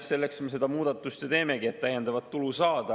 Selleks me seda muudatust ju teemegi, et täiendavat tulu saada.